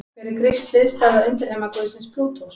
Hver er grísk hliðstæða undirheimaguðsins Plútós?